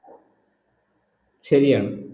ശരിയാണ്